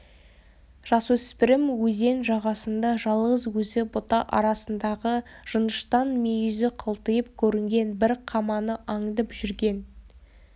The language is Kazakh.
жасөспірім өзен жағасында жалғыз өзі бұта арасындағы жыныштан мүйізі қылтиып көрінген бір қаманы аңдып жүрген